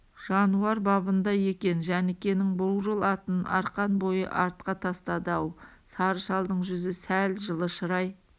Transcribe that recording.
жануар бабында екен жәнікенің бурыл атын арқан бойы артқа тастады-ау сары шалдың жүзі сәл жылы шырай